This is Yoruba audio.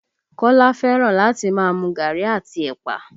Kola fẹ́ràn láti máa mu gaàrí àti ẹ̀pà